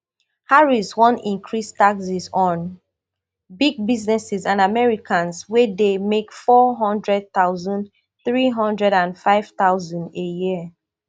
harriswan increase taxes on big businesses and americans wey dey make four hundred thousand three hundred and five thousand a year